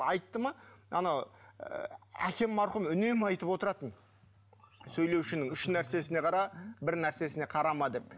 айтты ма анау ы әкем марқұм үнемі айтып отыратын сөйлеушінің үш нәрсесіне қара бір нәрсесіне қарама деп